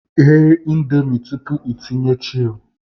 Ghe Indomie tupu ịtinye chil